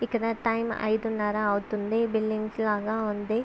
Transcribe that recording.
ఇక్కడ టైం ఐదునరా అవుతుంది. బిల్డింగ్స్ లాగా ఉంది.